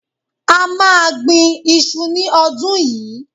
A máa gbin iṣu ní ọdún yìí